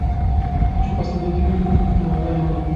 хочу посмотреть фильм на районе